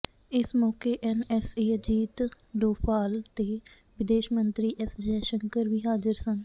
ਇਸ ਮੌਕੇ ਐੱਨਐੱਸਏ ਅਜੀਤ ਡੋਭਾਲ ਤੇ ਵਿਦੇਸ਼ ਮੰਤਰੀ ਐੱਸ ਜੈਸ਼ੰਕਰ ਵੀ ਹਾਜ਼ਰ ਸਨ